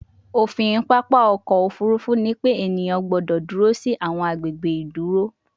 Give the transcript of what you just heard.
ofin papa ọkọ ofurufu ni pe eniyan gbọdọ duro si awọn agbegbe iduro